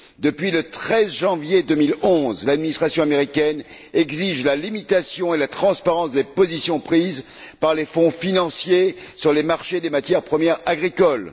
Depuis le 13 janvier 2011, l'administration américaine exige la limitation et la transparence des positions prises par les fonds financiers sur les marchés des matières premières agricoles.